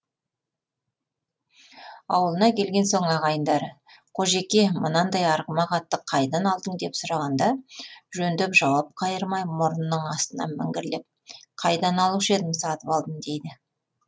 аулына келген соң ағайындары қожеке мынандай арғымақ атты қайдан алдың деп сұрағанда жөндеп жауап қайырмай мұрнының астынан міңгірлеп қайдан алушы едім сатып алдым дейді